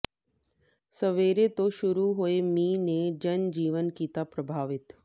ਸਵੇਰੇ ਤੋਂ ਸ਼ੁਰੂ ਹੋਏ ਮੀਂਹ ਨੇ ਜਨ ਜੀਵਨ ਕੀਤਾ ਪ੍ਰਭਾਵਿਤ